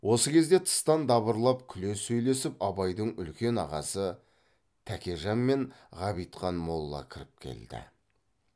осы кезде тыстан дабырлап күле сөйлесіп абайдың үлкен ағасы тәкежан мен ғабитхан молла кіріп келді